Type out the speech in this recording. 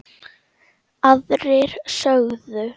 Aðrir sögðu